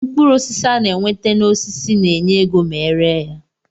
Mkpụrụ osisi ana enweta na osisi na enye égo ma eree ya.